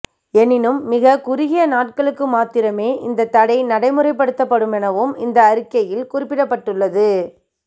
எனினும் மிக குறுகிய நாட்களுக்கு மாத்திரமே இந்தத்தடை நடைமுறைப்படுத்தப்படுமெனவும் இந்த அறிக்கையில் குறிப்பிடப்பட்டுள்ளது